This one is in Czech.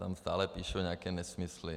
Tam stále píšou nějaké nesmysly.